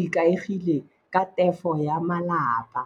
ikaegile ka tefo ya malapa.